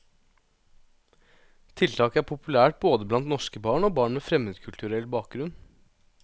Tiltaket er populært både blant norske barn og barn med fremmedkulturell bakgrunn.